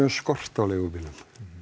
um skort á leigubílum